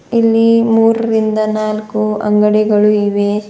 ಇಲ್ಲಿ ಮೂರರಿಂದ ನಾಲ್ಕು ಅಂಗಡಿಗಳು ಇವೆ.